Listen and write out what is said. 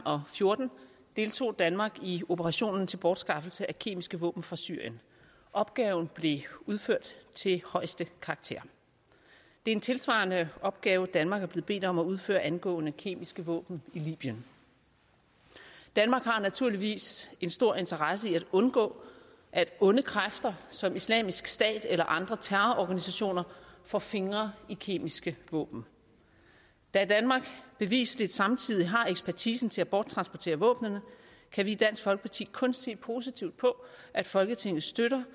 og fjorten deltog danmark i operationen til bortskaffelse af kemiske våben fra syrien opgaven blev udført til højeste karakter det er en tilsvarende opgave danmark er blevet bedt om at udføre angående kemiske våben i libyen danmark har naturligvis en stor interesse i at undgå at onde kræfter som islamisk stat eller andre terrororganisationer får fingre i kemiske våben da danmark bevisligt samtidig har ekspertisen til at borttransportere våbnene kan vi i dansk folkeparti kun se positivt på at folketinget støtter